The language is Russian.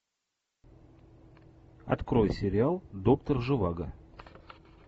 открой сериал доктор живаго